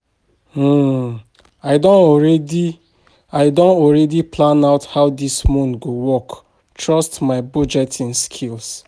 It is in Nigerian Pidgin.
um I don already I don already plan out how dis month go work trust my budgeting skills